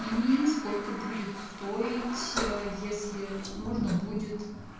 и сколько будет стоить если нужно будет